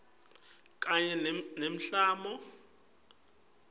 kanye nemiklamo yetemvelo